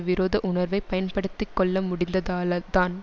விரோத உணர்வை பயன்படுத்தி கொள்ள முடிந்ததாலதான்